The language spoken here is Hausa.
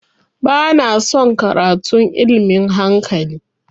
Ba na son karatun ilmin hankali